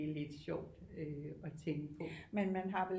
Lidt sjovt at tænke på